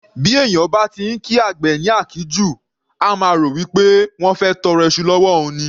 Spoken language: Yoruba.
Bí èèyàn bá ti ńkí àgbẹ̀ ní àkíjù, á máa rò wípé wọ́n fẹ́ tọrọ iṣu l'ọ́wọ́ òun ni.